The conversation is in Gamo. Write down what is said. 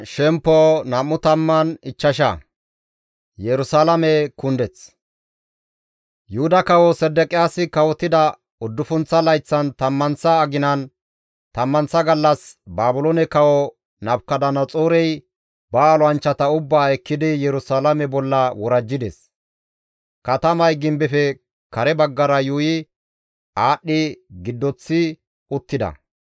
Yuhuda kawo Sedeqiyaasi kawotida uddufunththa layththan tammanththa aginan tammanththa gallas Baabiloone kawo Nabukadanaxoorey ba olanchchata ubbaa ekkidi Yerusalaame bolla worajjides; katamay gimbefe kare baggara yuuyi aadhdhi giddoththi uttida.